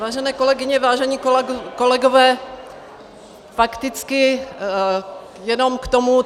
Vážené kolegyně, vážení kolegové, fakticky jenom k tomu.